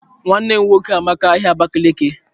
Nwannem nwoke amaka ahia Abakiliki.